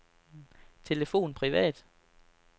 telefon privat